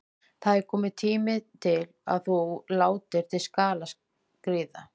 Það er kominn tími til að þú látir til skarar skríða.